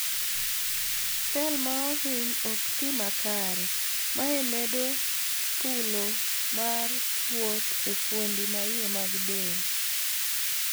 Cell maohiny okti makare, mae medo thulo mar kuot e fuondi maiye mag del..